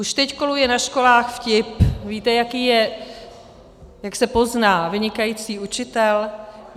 Už teď koluje na školách vtip: Víte, jak se pozná vynikající učitel?